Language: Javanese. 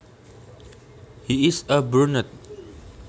He is a brunet